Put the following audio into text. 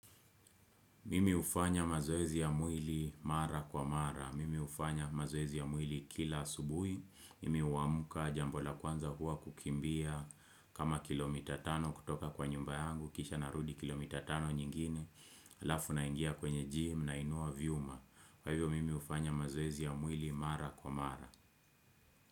Mimi hufanya mazoezi ya mwili mara kwa mara. Mimi hufanya mazoezi ya mwili kila asubuhi. Mimi huamka jambo la kwanza huwa kukimbia kama kilomita tano kutoka kwa nyumba yangu. Kisha narudi kilomita tano nyingine. Halafu naingia kwenye gym nainua vyuma. Kwa hivyo mimi hufanya mazoezi ya mwili mara kwa mara.